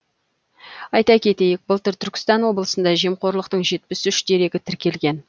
айта кетейік былтыр түркістан облысында жемқорлықтың жетпіс үш дерегі тіркелген